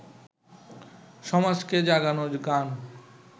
সমাজকে জাগানোর গান